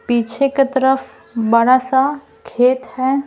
पीछे के तरफ बड़ा सा खेत है ।